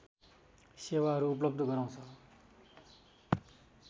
सेवाहरू उपलव्ध गराउँछ